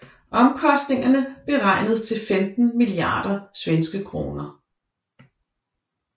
Omkostningerne beregnedes til 15 milliarder SEK